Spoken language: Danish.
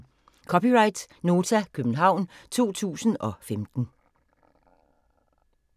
(c) Nota, København 2015